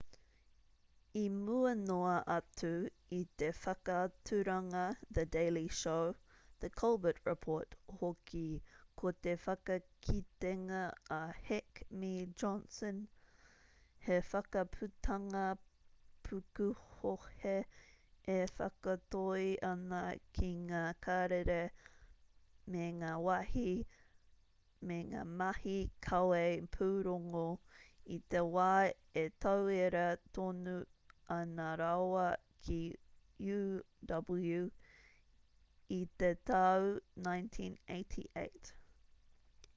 i mua noa atu i te whakaaturanga the daily show the colbert report hoki ko te whakakitenga a heck me johnson he whakaputanga pukuhohe e whakatoi ana ki ngā karere me ngā mahi kawe pūrongo i te wā e tauira tonu ana rāua ki uw i te tau 1988